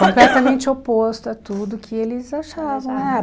Completamente oposto a tudo que eles achavam. Ah